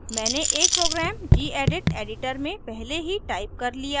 मैंने एक program gedit editor में पहले ही टाइप कर लिया है